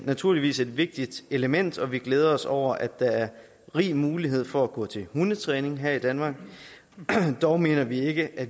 naturligvis et vigtigt element og vi glæder os over at der er rig mulighed for at gå til hundetræning her i danmark dog mener vi ikke at